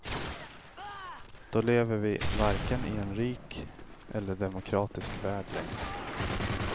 Då lever vi varken i en rik eller demokratisk värld längre.